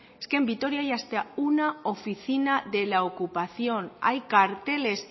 es que en vitoria hay hasta una oficina de la ocupación hay carteles